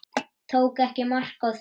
Tók ekki mark á því.